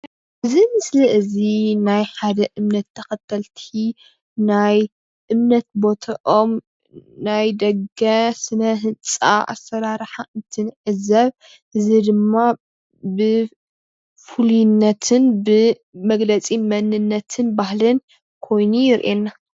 እዚ ምስሊ እዚ ናይ ሓደ እምነት ተከተልቲ ናይ እምነት ቦቶኦም ናይ ደገ ስነ ህንፃ አሰራርሓ እንትንዕዘብ እዚ ድማ ብ ፍሉይነትን ብ መግለፂ መንነትን ባህልን ከይኑ የሪኤና።